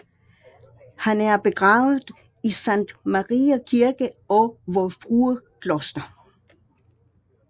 Han er begravet i Sankt Mariæ Kirke og Vor Frue Kloster